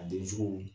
A den cogo